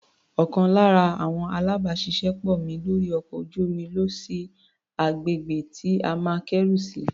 Ọ̀kan lára àwọn alábàáṣiṣé pọ̀ mi lórí ọkọ̀ ojú-omi lọ sí agbègbè tí a máa kẹ́rù sí.